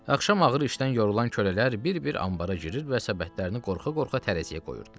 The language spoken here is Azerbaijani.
Axşam ağır işdən yorulan kölələr bir-bir anbara girir və səbətlərini qorxa-qorxa tərəziyə qoyurdular.